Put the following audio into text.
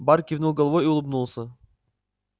бар кивнул головой и улыбнулся